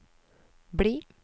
bli